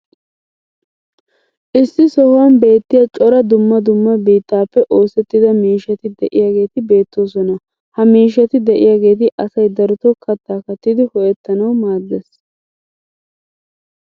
issi sohuwan beettiya cora dumma dumma biittaappe oosettida miishshati diyaageeti beetoosona. ha miishshati diyaageeti asay darotoo kataa kattidi ho'ettanawu maadees.